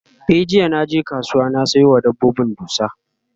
e jiya da naje kasuwa na Sayo wa dabbobin dusa